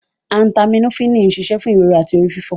Acetaminophini ń ṣiṣẹ́ fún ìrora àti orí fífọ.